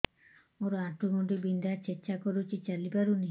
ମୋର ଆଣ୍ଠୁ ଗଣ୍ଠି ବିନ୍ଧା ଛେଚା କରୁଛି ଚାଲି ପାରୁନି